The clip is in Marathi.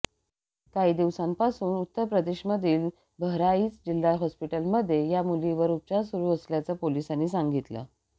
काही दिवसांपासून उत्तर प्रदेशमधील बहराइच जिल्हा हॉस्पिटलमध्ये या मुलीवर उपचार सुरू असल्याचं पोलिसांनी सांगितलं